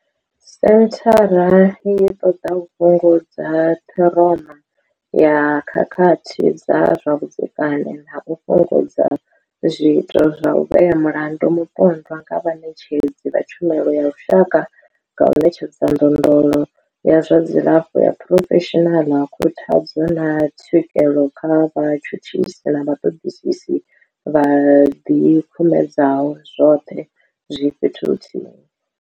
Senthara i ṱoḓa u fhungudza ṱhiroma ya khakhathi dza zwa vhudzekani na u fhungudza zwiito zwa u vhea mulandu mupondwa nga vhaṋetshedzi vha tshumelo ya lushaka nga u ṋetshedza ndondolo ya zwa dzilafho ya phurofeshinala, khuthadzo, na tswikelo kha vhatshutshisi na vhaṱoḓisi vho ḓikumedzaho, zwoṱhe zwi fhethu huthihi.